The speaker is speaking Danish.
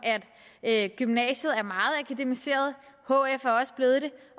at gymnasiet er meget akademiseret hf er også blevet det